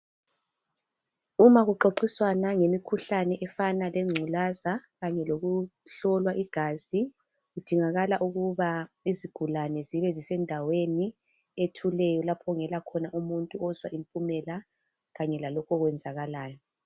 Uma kuxoxiswana ngemikhuhlane efana Lengculaza kanye lokuhlolwa igazi kudingakala ukuba izigulane zibe zisendaweni ethuleyo lapho okungela muntu ozwa impumela kanye lalokho okwenzakalayo.